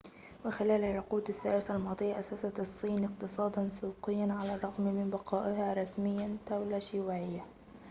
وخلال العقود الثلاثة الماضية أسست الصين اقتصاداً سوقياً على الرغم من بقائها رسمياً دولة شيوعية